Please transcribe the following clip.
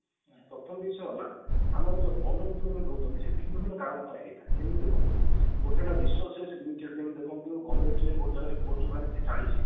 ପ୍ରଥମ ବିଷୟ ହେଲା ଆମର ଯୋଉ unemployment ରହୁଛନ୍ତି ସେ ଭିନ୍ନ ଭିନ୍ନ କାରଣ ପାଇଁ ହେଇଥାଏ କେମତି ଦେଖନ୍ତୁ ଗୋଟେ ହେଲା resources limited ଯେମତି ଦେଖନ୍ତୁ government ରେ ଗୋଟେ ଜାଗାରେ post ବାହାରିଛି ଚାଳିଶି